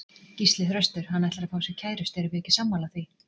Gísli Þröstur: Hann ætlar að fá sér kærustu, erum við ekki sammála því?